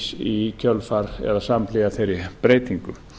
í kjölfar eða samhliða þeirri breytingu